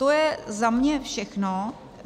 To je za mě všechno.